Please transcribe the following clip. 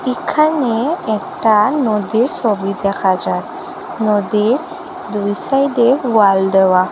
এখানে একটা নদীর সবি দেখা যায় নদীর দুই সাইডে ওয়াল দেওয়া।